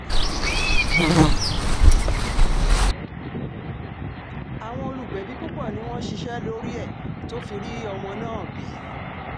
àwọn olùgbẹ̀bí púpọ̀ ni wọ́n ṣiṣẹ́ lórí ẹ̀ tó fi rí ọmọ náà bí